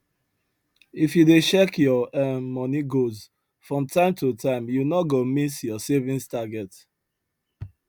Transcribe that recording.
if you dey check your um money goals from time to time you no go miss your savings target